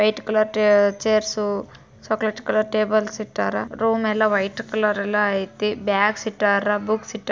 White colour tray chairs ಇದೆ chocolate colours table ಇಟರ್ room ಎಲ್ಲಾ ವೈಟ್ ಕಲರ್ ಅಲ್ಲ ಐತೆ ಬಾಕ್ಸ್ ಇಟ್ಟ್ ರಾ ಬುಕ್ಸ್ ಇಟ್ಟಾರಾ.